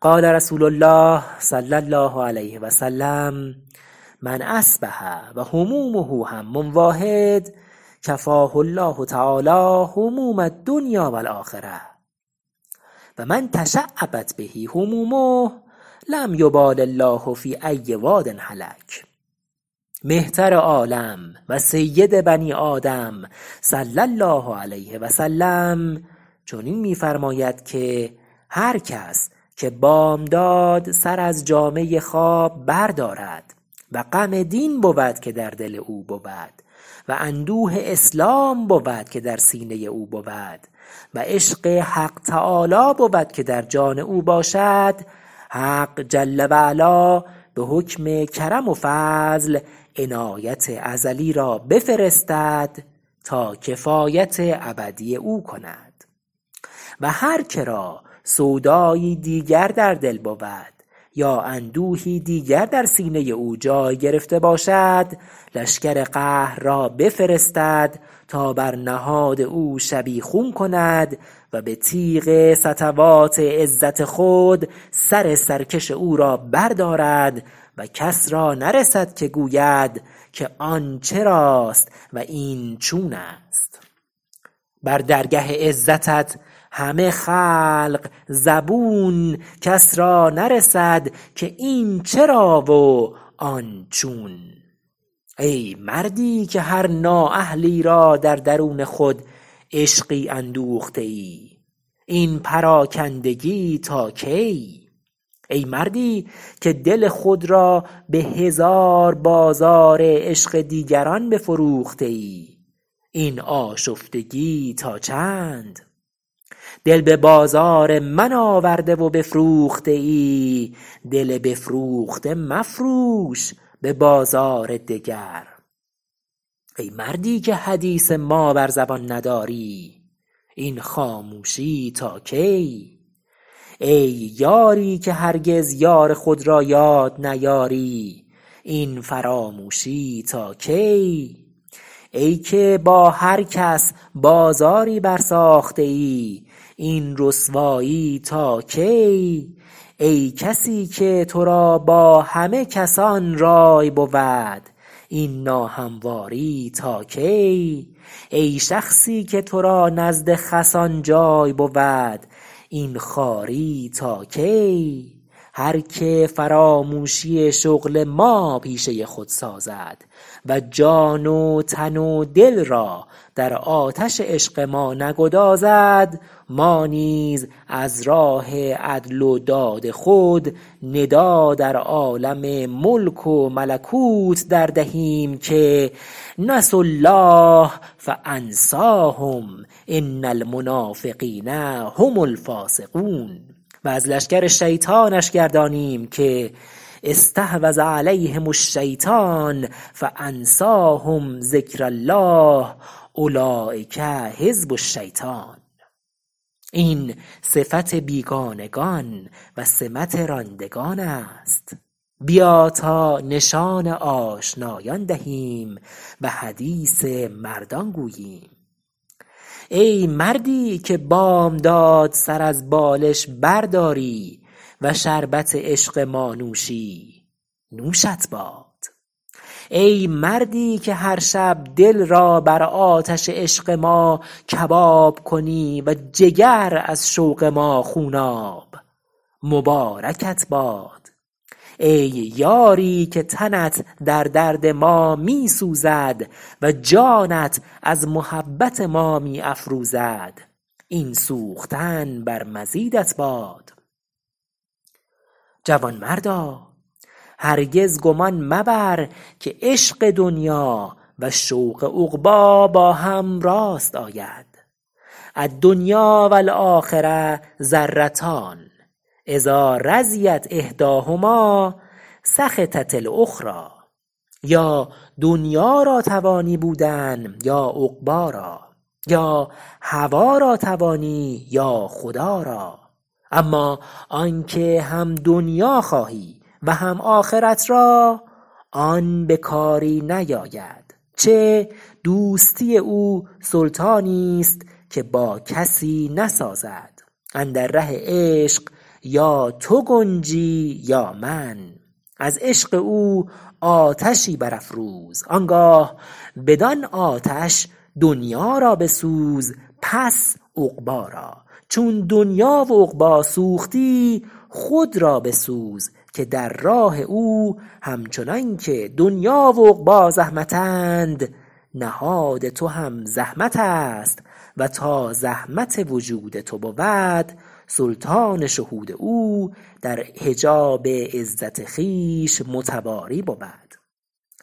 قال رسول الله صلی الله علیه وسلم من اصبح و همومه هم واحد کفاه الله تعالی هموم الدنیا و الاخرة و من تشعبت به همومه لم یبال الله فی ای واد هلک مهتر عالم و سید بنی آدم صلی الله علیه و سلم چنین می فرماید که هر کس که بامداد سر از جامه خواب بردارد و غم دین بود که در دل او بود و اندوه اسلام بود که در سینه او بود و عشق حق تعالی بود که در جان او باشد حق جل و علا به حکم کرم و فضل عنایت ازلی را بفرستد تا کفایت ابدی او کند و هر که را سودایی دیگر در دل بود یا اندوهی دیگر در سینه او جای گرفته باشد لشکر قهر را بفرستد تا بر نهاد او شبیخون کند و به تیغ سطوات عزت خود سر سرکش او را بردارد و کس را نرسد که گوید که آن چراست و این چون است بر درگه عزتت همه خلق زبون کس را نرسد که این چرا و آن چون ای مردی که هر نااهلی را در درون خود عشق اندوخته ای این پراکندگی تا کی ای مردی که دل خود را به هزار بازار عشق دیگران بفروخته ای این آشفتگی تا چند دل به بازار من آورده و بفروخته ای دل بفروخته مفروش به بازار دگر ای مردی که حدیث ما بر زبان نداری این خاموشی تا کی ای یاری که هرگز یار خود را یاد نیاری این فراموشی تا کی ای که با هر کس بازاری برساخته ای این رسوایی تا کی ای کسی که تو را با همه کسان رای بود این ناهمواری تا کی ای شخصی که تو را نزد همه خسان جای بود این خواری تا کی هر که فراموشی شغل ما پیشه خود سازد و جان و تن و دل را در آتش عشق ما نگدازد ما نیز از راه عدل و داد خود ندا در عالم ملک و ملکوت در دهیم که نسوا الله فانسیهم ان المنافقین هم الفاسقون و از لشکر شیطانش گردانیم که استحوذ علیهم الشیطان فانسیهم ذکر الله اولیک حزب الشیطان این صفت بیگانگان و سمت راندگان است بیا تا نشان آشنایان دهیم و حدیث مردان گوییم ای مردی که بامداد سر از بالش برداری و شربت عشق ما نوشی نوشت باد ای مردی که هر شب دل را بر آتش عشق ما کباب کنی و جگر از شوق ما خوناب مبارکت باد ای یاری که تنت در درد ما می سوزد و جانت از محبت ما می افروزد این سوختن بر مزیدت باد جوانمردا هرگز گمان مبر که عشق دنیا و شوق عقبی با هم راست آید الدنیا و الاخرة ضرتان اذا رضیت احدیها سخطت الاخری یا دنیا را توانی بودن یا عقبی را یا هوا را توانی یا خدا را اما آن که هم دنیا خواهی و هم آخرت را آن به کاری نیاید چه دوستی او سلطانی ست که با کسی نسازد اندر ره عشق یا تو گنجی یا من از عشق او آتشی برافروز آن گاه بدان آتش دنیا را بسوز پس عقبی را چون دنیا و عقبی سوختی پس خود را بسوز که در راه او همچنان که دنیا و عقبی زحمتند نهاد تو هم زحمت است و تا زحمت وجود تو بود سلطان شهود او در حجاب عترت خویش متواری بود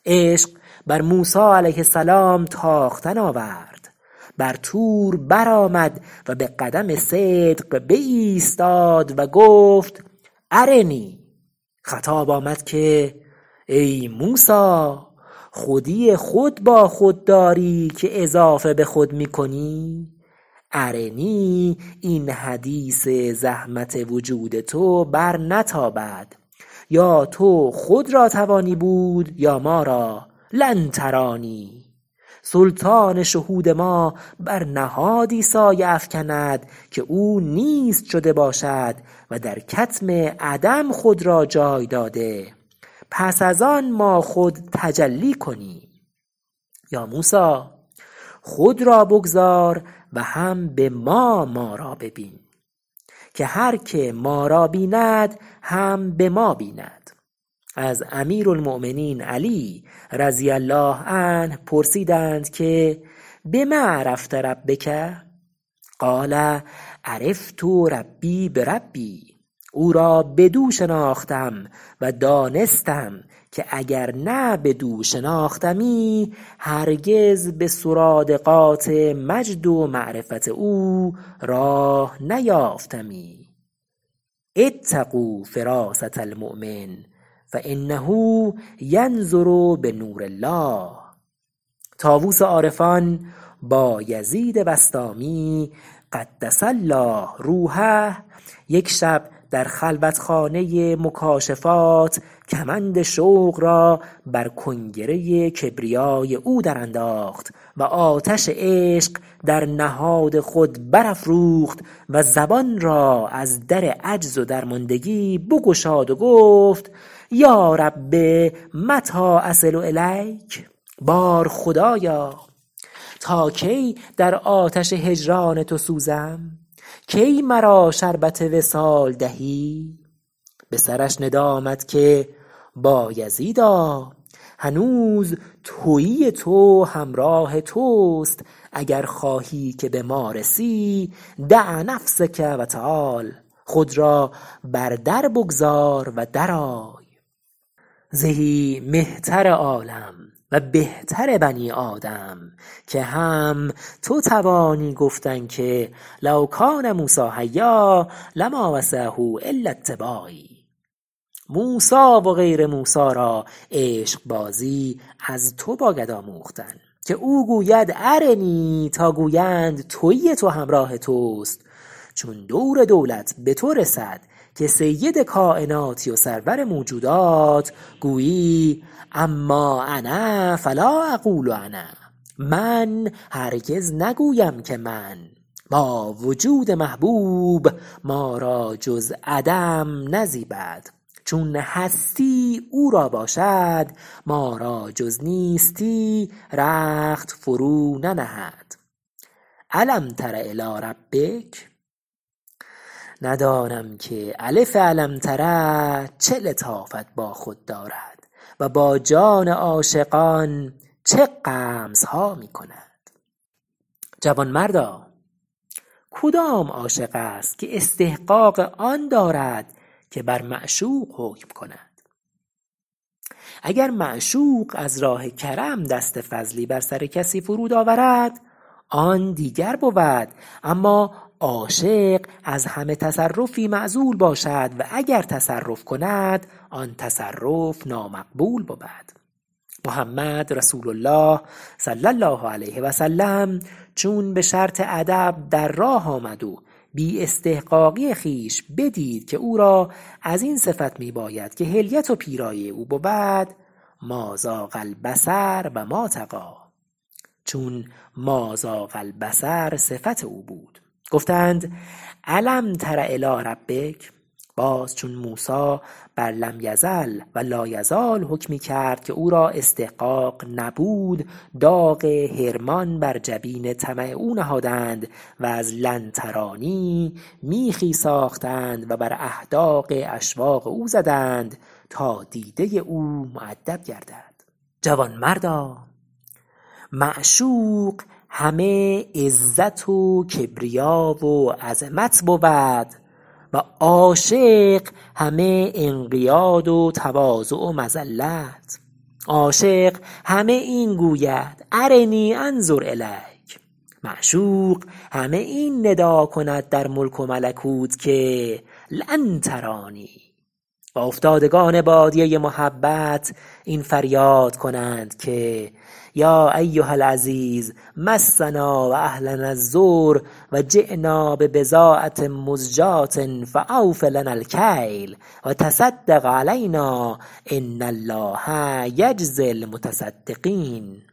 عشق بر موسی علیه السلام تاختن آورد بر طور بر آمد و به قدم صدق بایستاد و گفت ارنی خطاب آمد که ای موسی خودی خود با خود داری که اضافه به خود می کنی ارنی این حدیث زحمت وجود تو بر نتابد یا تو خود را توانی بود یا ما را لن ترانی سلطان شهود ما بر نهادی سایه افکند که او نیست شده باشد و در کتم عدم خود را جای داده پس از آن ما خود تجلی کنیم با موسی خود را بگذار و هم به ما ما را ببین که هر که ما را بیند هم به ما بیند از امیر المؤمین علی رضی الله عنه پرسیدند که بم عرفت ربک قال عرفت ربی بربی او را بدو شناختم و دانستم که اگر نه بدو شناختمی هرگز به سرادقات مجد و معرفت او راه نیافتمی اتقوا فراسة المؤمن فانه ینظر بنور الله طاووس عارفان بایزید بسطامی قدس الله روحیه یک شب در خلوت خانه مکاشفات کمند شوق را بر کنگره کبریای او در انداخت و آتش عشق در نهاد خود برافروخت و زبان را از در عجز و درماندگی بگشاد و گفت یا رب متی أصل الیک بار خدایا تا کی در آتش هجران تو سوزم کی مرا شربت وصال دهی به سرش ندا آمد که بایزید هنوز تویی تو همراه توست اگر خواهی که به ما رسی دع نفسک و تعال خود را بر در بگذار و در آی زهی مهتر عالم و بهتر بنی آدم که هم تو توانی گفتن که لو کان موسی حیا لما وسعه الا اتباعی موسی و غیر موسی را عشق بازی از تو باید آموختن که او گوید ارنی تا گویند تویی تو همراه توست چون دور دولت به تو رسد که سید کایناتی و سرور موجودات گویی اما انا فلا اقول انا اما من هرگز نگویم که من با وجود محبوب ما را جز عدم نزیبد چون هستی او را باشد ما را جز نیستی رخت فرو ننهد الم تر الی ربک ندانم که الف الم تر چه لطافت با خود دارد و با جان عاشقان چه غمزها می کند جوانمردا کدام عاشق است که استحقاق آن دارد که بر معشوق حکم کند اگر معشوق از راه کرم دست فضلی بر سر کسی فرود آورد آن دیگر بود اما عاشق از همه تصرفی معزول باشد و اگر تصرف کند آن تصرف نامقبول بود محمد رسول الله صلی الله علیه و سلم چون به شرط ادب در راه آمد و بی استحقاقی خویش بدید که او را از این صفت می باید که حلیت و پیرایه او بود ما زاغ البصر و ما طغی چون ما زاغ البصر صفت او بود گفتند الم تر الی ربک باز چون موسی بر لم یزل و لا یزال حکمی کرد که او را استحقاق نبود داغ حرمان بر جبین طمع او نهادند و از لن ترانی میخی ساختند و بر احداق اشواق او زدند تا دیده او مؤدب گردد جوانمردا معشوق همه عزت و کبریا و عظمت بود و عاشق همه انقیاد و تواضع و مذلت عاشق همه این گوید ارنی انظر الیک معشوق همه این ندا کند در ملک و ملکوت که لن ترانی و افتادگان بادیه محبت این فریاد کنند که یا ایها العزیز مسنا و اهلنا الضر و جینا ببضاعة مزجاة فاوف لنا الکیل و تصدق علینا أن الله یجزی المتصدقین